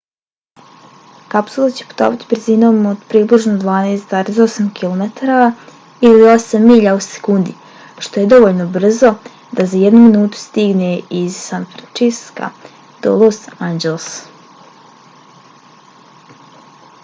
kapsula će putovati brzinom od približno 12,8 km ili 8 milja u sekundi što je dovoljno brzo da za jednu minutu stigne iz san francisca do los angelesa